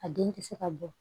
A den tɛ se ka bɔ